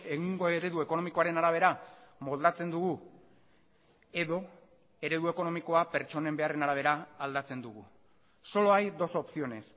egungo eredu ekonomikoaren arabera moldatzen dugu edo eredu ekonomikoa pertsonen beharren arabera aldatzen dugu solo hay dos opciones